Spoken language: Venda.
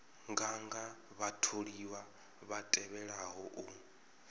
nganga vhatholiwa vha tevhelaho u